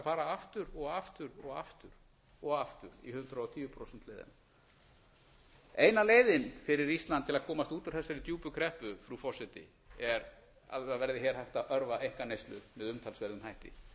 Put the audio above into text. fara aftur og aftur og aftur og aftur í hundrað og tíu prósenta leiðina eina leiðin fyrir ísland til að komast út úr þessari djúpu kreppu frú forseti er að hér verði hægt að örva einkaneyslu með umtalsverðum hætti